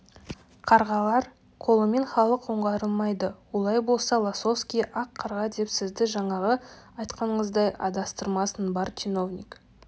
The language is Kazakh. қарғалар қолымен халық оңғарылмайды олай болса лосовский ақ қарға деп сізді жаңағы айтқаныңыздай адастырмасын бар чиновник